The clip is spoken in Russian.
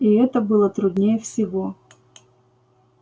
и это было труднее всего